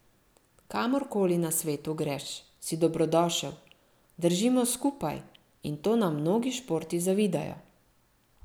Kamor koli na svetu greš, si dobrodošel, držimo skupaj, in to nam mnogi športi zavidajo.